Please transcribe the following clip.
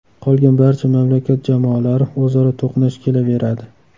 Qolgan barcha mamlakat jamoalari o‘zaro to‘qnash kelaveradi.